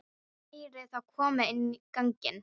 Ég heyri þá koma inn ganginn.